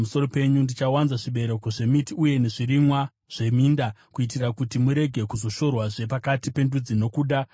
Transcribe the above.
Ndichawanza zvibereko zvemiti uye nezvirimwa zveminda, kuitira kuti murege kuzoshorwazve pakati pendudzi nokuda kwenzara.